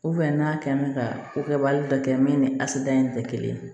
n'a kɛ n bɛ ka ko kɛbaga dɔ kɛ min ni asida in tɛ kelen ye